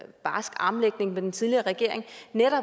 barsk armlægning med den tidligere regering